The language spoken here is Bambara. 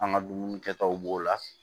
An ka dumuni kɛtaw b'o la